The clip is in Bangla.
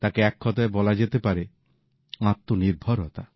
তাকে এককথায় বলা যেতে পারে আত্মনির্ভরতা